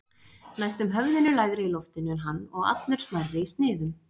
Næstum höfðinu lægri í loftinu en hann og allur smærri í sniðum.